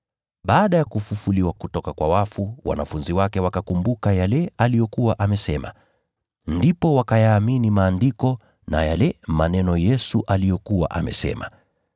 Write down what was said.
Baada ya kufufuliwa kutoka kwa wafu, wanafunzi wake wakakumbuka yale aliyokuwa amesema. Ndipo wakayaamini Maandiko na yale maneno Yesu aliyokuwa amesema.